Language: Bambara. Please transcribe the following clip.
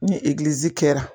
Ni egilizi kɛra.